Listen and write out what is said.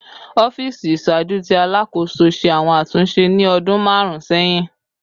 Ọfiisi iṣaaju ti Alakoso ṣe awọn atunṣe ni ọdun marun sẹhin